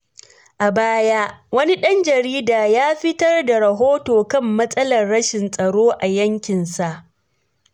A baya, wani dan jarida ya fitar da rahoto kan matsalar rashin tsaro a yankinsa.